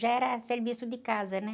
Já era serviço de casa, né?